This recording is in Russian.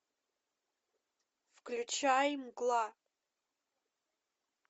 включай мгла